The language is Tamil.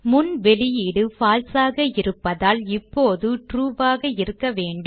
முன் வெளியீடு false ஆக இருப்பதால் இப்போது ட்ரூ ஆக இருக்க வேண்டும்